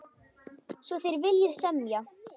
Svo þér viljið semja?